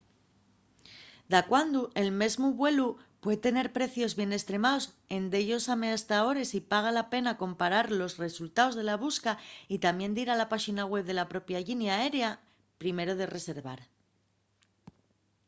dacuando el mesmu vuelu pue tener precios bien estremaos en dellos amestadores y paga la pena comparar los resultaos de la busca y tamién dir a la páxina web de la propia llinia aérea primero de reservar